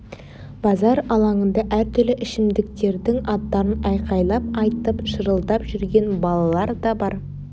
базар алаңында әртүрлі ішімдіктердің аттарын айқайлап айтып шырылдап жүрген балалар да бар